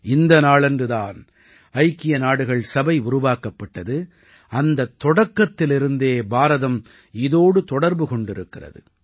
இந்த நாளன்று தான் ஐக்கிய நாடுகள் சபை உருவாக்கப்பட்டது அந்தத் தொடக்கத்திலிருந்தே பாரதம் இதோடு தொடர்பு கொண்டிருக்கிறது